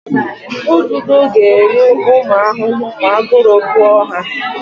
Ududo ga-eri ụmụ ahụhụ ma aguru gụọ ha.